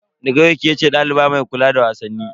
Daga yau kece daliba mai kula da wasanni.